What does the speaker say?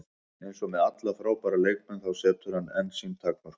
Eins og með alla frábæra leikmenn, þá setur hann einn sín takmörk.